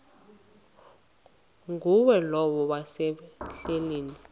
ngulowo wayesel ehleli